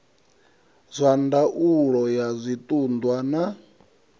wa ndaulo ya zwiṱunḓwa na